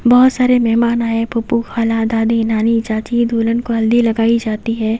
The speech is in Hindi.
बहुत सारे मेहमान आए फूफू खाला दादी नानी चाची दूलन को हल्दी लगाई जाती है।